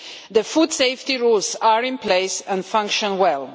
The food safety rules are in place and function well.